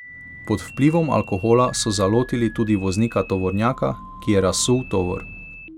Pod vplivom alkohola so zalotili tudi voznika tovornjaka, ki je razsul tovor.